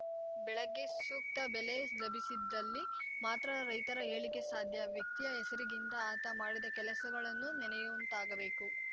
ಬೆಳಗ್ಗೆ ಸೂಕ್ತ ಬೆಲೆ ಲಭಿಸಿದಲ್ಲಿ ಮಾತ್ರ ರೈತರ ಏಳಿಗೆ ಸಾಧ್ಯ ವ್ಯಕ್ತಿಯ ಹೆಸರಿಗಿಂತ ಆತ ಮಾಡಿದ ಕೆಲಸಗಳನ್ನು ನೆನೆಯುವಂತಾಗಬೇಕು